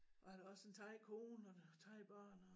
Og han har også en thai kone og thai børn